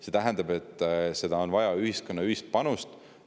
See tähendab, et on vaja ühiskonna ühist panust.